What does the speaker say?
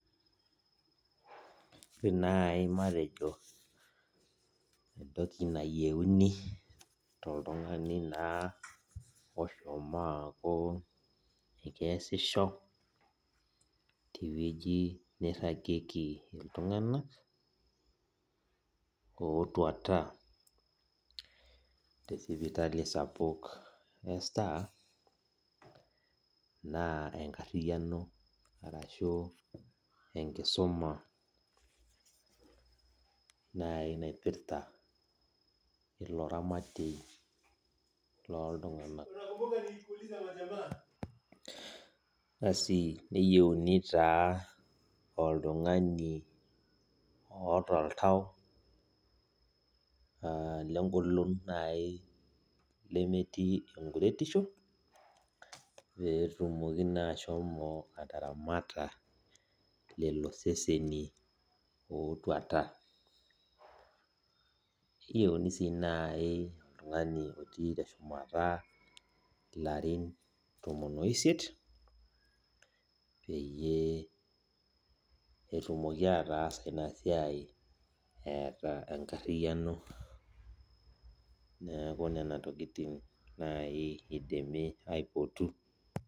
Ore nai matejo entoki nayiauni toltungani na oshomo aaku keasisho tewue nairagieki ltunganak otuata tesipitali sapuk e star na enkariano ashu enkisuma nai naipirta ilo ramatie na loltunganak neyieuni nai oltungani oota oltau lengolon amu lemetii enkuretisho petumoki nai ashomo ataramata loloseseni otuata nayieuni si nai oltungani otii teshumata larin tomon oisiet peyie etumoki ataasa inasiai eeta enkariano neaku nona tokitin nai idimi aipotu.